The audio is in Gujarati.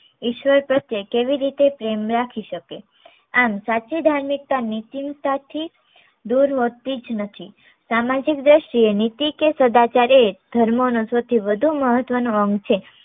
ઈશ્વર પ્રત્ય કેવી રીતે પ્રેમ રાખી શકે આમ સાચી ધાર્મિકતા નીતિ ની સાથે દૂર હોતી જ નથી સામાજિક દ્રષ્ટિ એ નીતિ કે સદાચાર એ ધર્મનો સૌથી વધુ મહત્વ નો અંગ છે